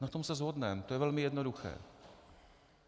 Na tom se shodneme, to je velmi jednoduché.